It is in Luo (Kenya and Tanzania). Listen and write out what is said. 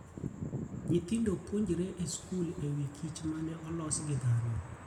Nyithindo puonjore e skul e wi kich ma ne olos gi dhano.